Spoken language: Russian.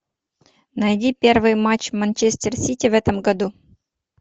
найди первый матч манчестер сити в этом году